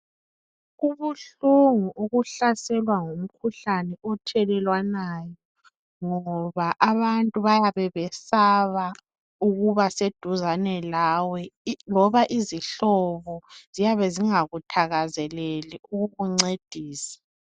Kubuhlungu ukuhlaselwa ngumkhuhlane othelelwanayo. Ngoba abantu bayabe besaba ukuba seduzane lawe ,loba izihlobo ziyabe zingakuthakazeleli ukukuncedisa.